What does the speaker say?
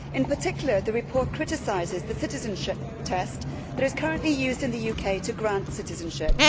In particular the report criticises the citizenship test which is currently used in the UK to grant citizenship.